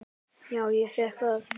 Já, ég fékk það.